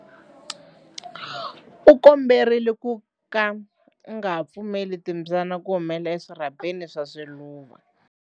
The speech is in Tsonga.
U komberiwa ku ka u nga pfumeleli timbyana ku humela eswirhapeni swa swiluva.